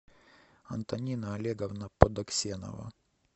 антонина олеговна подоксенова